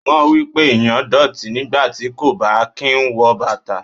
O mọ̀ wípé ẹ̀yàn dọ̀tí nígbàtí kò bá kín wọ bàtà.